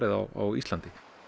á Íslandi